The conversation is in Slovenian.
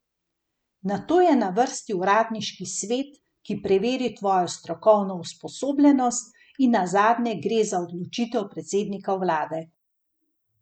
Nato je na vrsti uradniški svet, ki preveri tvojo strokovno usposobljenost, in nazadnje gre za odločitev predsednika vlade.